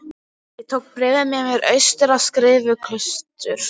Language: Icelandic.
Ég tók bréfið með mér austur á Skriðuklaustur.